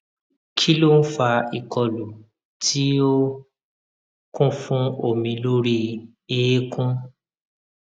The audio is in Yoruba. kí ló ń fa ìkọlù tí ó kún fún omi lórí eékún